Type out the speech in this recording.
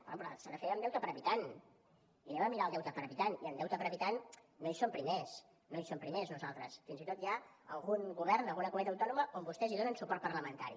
home però s’ha de fer amb deute per habitant i anem a mirar el deute per habitant i en deute per habitant no hi som primers no hi som primers nosaltres fins i tot hi ha algun govern d’alguna comunitat autònoma on vostès hi donen suport parlamentari